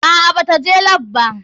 Aa bata je lap ba.